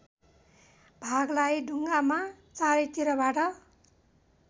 भागलाई ढुङ्गामा चारैतिरबाट